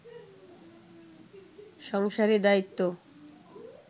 সংসারে দায়িত্ব